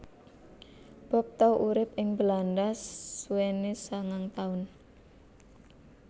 Bob tau urip ing Belanda suwené sangang taun